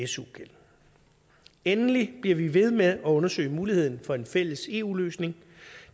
su gæld endelig bliver vi ved med at undersøge muligheden for en fælles eu løsning